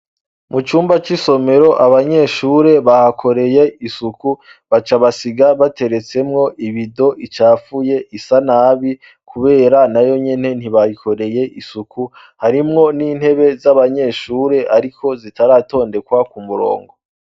Mu cumba c'isomero, abanyeshure bahakoreye isuku, baca basiga bateretsemwo ibido icafuye, isanabi kubera na yonyene ntibayikoreye isuku, harimwo n'intebe z'abanyeshure ariko zitaratondekwa ku murongo.